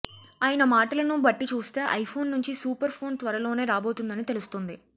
ఆయన మాటలను బట్టి చూస్తే ఐఫోన్ నుంచి సూపర్ ఫోన్ త్వరలోనే రాబోతుందని తెలుస్తుంది